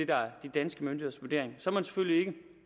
der er de danske myndigheders vurdering så er man selvfølgelig ikke